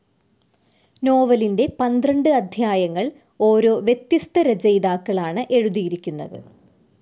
നോവലിൻ്റെ പന്ത്രണ്ട് അധ്യായങ്ങൾ ഓരോ വ്യത്യസ്ഥ രചയിതാക്കളാണ് എഴുതിയിരിക്കുന്നത്.